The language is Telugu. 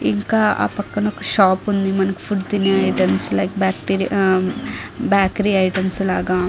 ఇంకా ఆ పక్కన ఒక షాప్ ఉంది. లైక్ బేకరీ ఐటెమ్స్ లాగా.